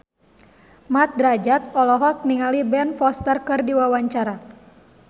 Mat Drajat olohok ningali Ben Foster keur diwawancara